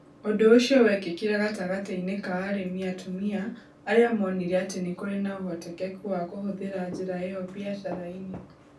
Ũndũ ũcio wekĩkire gatagatĩ-inĩ ka arĩmi atumia arĩa moonire atĩ nĩ kũrĩ na ũhotekeku wa kũhũthĩra njĩra ĩyo biacara-inĩ.